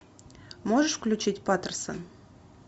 можешь включить патерсон